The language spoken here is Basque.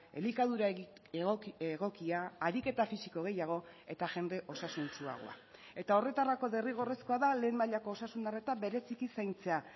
elikadura egokia ariketa fisiko gehiago eta jende osasuntsuagoa eta horretarako derrigorrezkoa da lehen mailako osasun arreta bereziki zaintzea